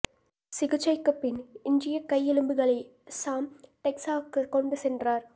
சிகிச்சைக்கு பின் எஞ்சிய கை எலும்புகளை சாம் டெக்சாஸுக்கு கொண்டு சென்றார்